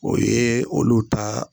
O ye olu ta